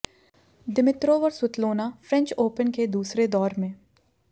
Dimitrov और Svetlana French Open के दूसरे दौर में